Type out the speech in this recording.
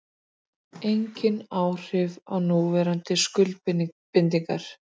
Engin áhrif á núverandi skuldbindingar